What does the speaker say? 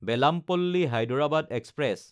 Bellampalli-Hyderabad express